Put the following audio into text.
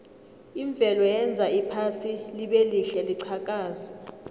imvelo yenza iphasi libelihle liqhakaze